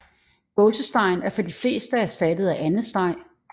Gåsestegen er for de fleste erstattet af andesteg